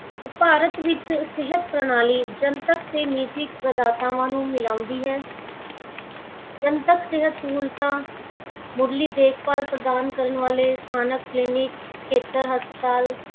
ਭਾਰਤ ਵਿਚ ਸਿਹਤ ਪ੍ਰਣਾਲੀ ਜਨਤਕ ਤੇ ਨਿੱਜੀ ਪ੍ਰਦਾਤਾਵਾਂ ਨੂੰ ਮਿਲਾਉਂਦੀ ਹੈ। ਜਨਤਕ ਸਿਹਤ ਸਹੂਲਤਾਂ, ਮੁਢਲੀ ਦੇਖ-ਭਾਲ਼ ਪ੍ਰਦਾਨ ਕਰਨ ਵਾਲ਼ੇ ਸਥਾਨਕ clinic, ਖੇਤਰ ਹਸਪਤਾਲ